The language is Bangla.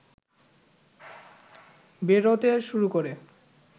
বেরোতে শুরু করে